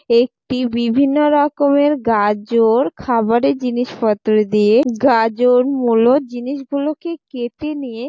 একটি বিভিন্ন রকমের গাজর খাবারে জিনিসপত্র দিয়ে গাজর মুলো জিনিসগুলোকে কেটে নিয়ে।